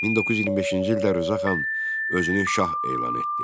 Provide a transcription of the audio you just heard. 1925-ci ildə Rza xan özünü şah elan etdi.